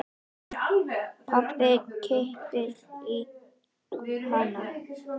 Pabbi kippir í hana.